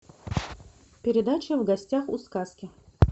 передача в гостях у сказки